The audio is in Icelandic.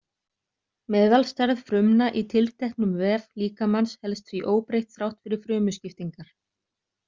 Meðalstærð frumna í tilteknum vef líkamans helst því óbreytt þrátt fyrir frumuskiptingar.